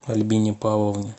альбине павловне